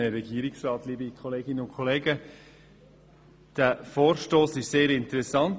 Dieser Vorstoss ist sehr interessant.